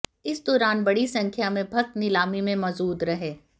इस दौरान बड़ी संख्या में भक्त नीलामी में मौजूद रहे